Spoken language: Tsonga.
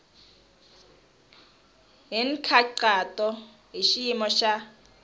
hi nkhaqato hi xiyimo xa